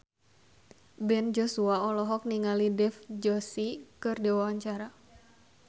Ben Joshua olohok ningali Dev Joshi keur diwawancara